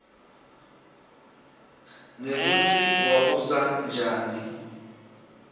nekutsi wabusa njani